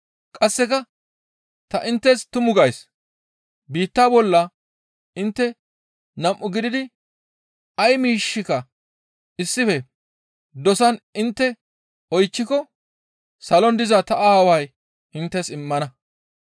Qasseka ta inttes tumu gays; biitta bolla intte nam7u gididi ay miishshika issife dosan intte oychchiko salon diza ta Aaway inttes immana.